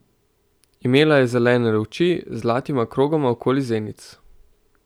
Imela je zelene oči z zlatima krogoma okrog zenic.